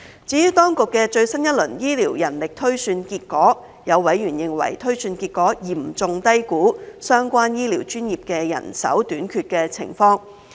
至於當局的最新一輪醫療人力推算結果，有委員認為推算結果嚴重低估相關醫療專業的人手短缺情況。